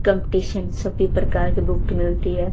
Competition सभी प्रकार के बुक मिलती हैं।